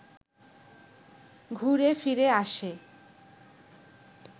ঘুরে-ফিরে আসে